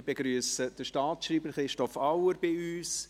Ich begrüsse den Staatsschreiber Christoph Auer bei uns.